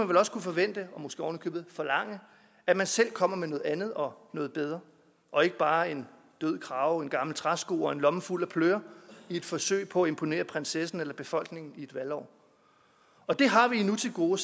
vel også kunne forvente og måske oven i købet forlange at man selv kommer med noget andet og noget bedre og ikke bare en død krage en gammel træsko og en lomme fuld af pløre i et forsøg på at imponere prinsessen eller befolkningen i et valgår og det har vi endnu til gode